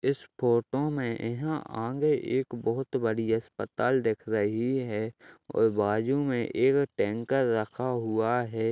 इस फोटो में यहाँ आगे एक बहोत बड़ी अस्पताल दिख रही है और बाजू में एक टैंकर रखा हुआ है।